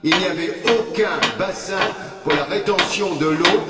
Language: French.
Il n'y avait aucun bassin pour la rétention de l'eau.